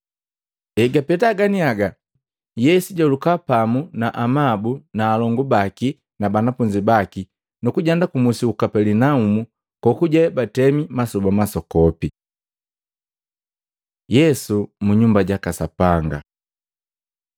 Egapeta ganiaga, Yesu jahuluka pamu na amabu na alongu baki na banafunzi baki, nukujenda kumusi uku Kapelinaumu kokuje batemi masoba masokopi. Yesu mu Nyumba jaka Sapanga Matei 21:12, 13; Maluko 11:15-17; Luka 19:45-46